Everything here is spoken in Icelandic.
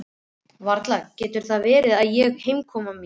Varla getur það verið ég og heimkoma mín.